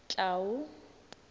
clau